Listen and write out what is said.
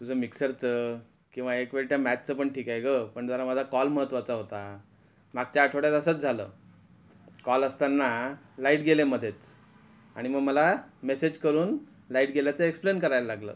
तुझं मिक्सरच किंवा एक वेळचं त्या मॅच च पण ठीक आहे ग पण जरा माझा कॉल महत्त्वाचा होता मागचा आठवड्यात असच झालं कॉल असतांना लाईट गेली मध्येच आणि मग मला मॅसेज करून लाईट गेल्याचं एक्सप्लेन करायला लागलं .